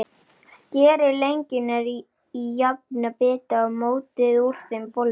Skerið lengjurnar í jafna bita og mótið úr þeim bollur.